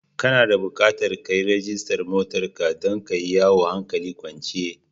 Kana da bukatar ka yi rajistar motar ka don ka yi yawo hankali kwance.